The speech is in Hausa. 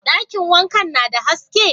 Dakin wankan na da haske?